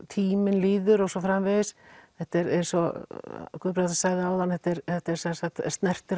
tíminn líður og svo framvegis þetta er eins og Guðbrandur sagði áðan þetta snertir